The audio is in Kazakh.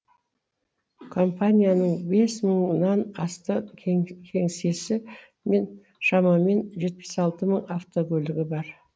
компанияның бес мыңнан астам кеңсесі мен шамамен жетпіс алты мың автокөлігі бар